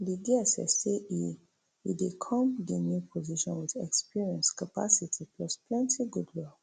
di dss say e e dey come di new position wit experience capacity plus plenty goodwill